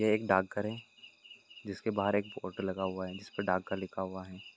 यह एक डाकघर है जिसके बाहर एक बोर्ड लगा हुआ है जिसपे डाकघर लिखा हुआ है।